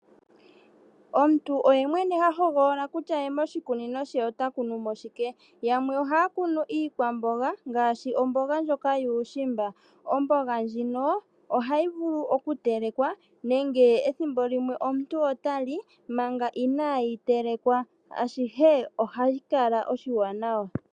Omuntu oye mwene ha hoogolola kutya ye moshikunino she ota kunumo shike. Yamwe ohaya kunu iikwamboga ngaashi omboga ndjoka yuushimba. Omboga ndjino ohayi vulu oku telekwa nenge . Nenge ethimbo limwe omuntu otali manga inaayi telekwa . Ashihe ohashi kala oshiwanawa.